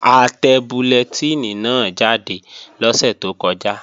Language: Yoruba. A tẹ bullẹtínì náà jáde lọ́sẹ̀ tó kọjá